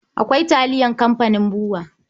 Akwai taliyar kamfanin BUA